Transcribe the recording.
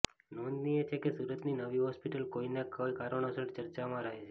નોંધનીય છે કે સુરતની નવી હોસ્પિટલ કોઇને કોઇ કારણોસર ચર્ચામાં રહે છે